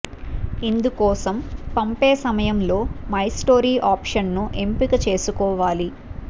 ఇందుకోసం పంపే సమయంలో మై స్టోరీ ఆప్షన్ ను ఎంపిక చేసుకోవాలి